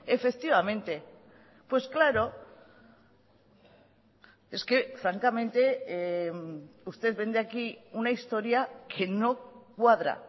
efectivamente pues claro es que francamente usted vende aquí una historia que no cuadra